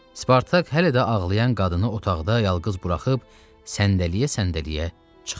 Spartak hələ də ağlayan qadını otaqda yalqız buraxıb səndələyə-səndələyə çıxdı.